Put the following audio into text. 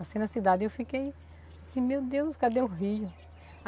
Assim, na cidade eu fiquei assim, meu Deus, cadê o rio?